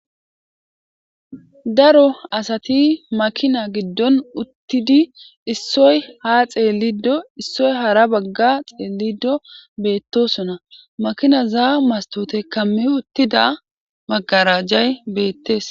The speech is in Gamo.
Daro asati makina giddon uttidi issoy ha xeellido issoy hara bagga xeellido beettosona makina zaa mastote kamme uttida magarajay beettes.